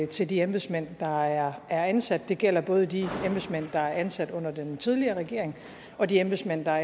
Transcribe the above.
til de embedsmænd der er er ansat det gælder både de embedsmænd der er blevet ansat under den tidligere regering og de embedsmænd der er